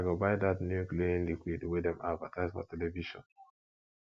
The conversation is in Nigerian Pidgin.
i go buy dat new cleaning liquid wey dem advertise for television